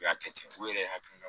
U y'a kɛ ten u yɛrɛ hakilina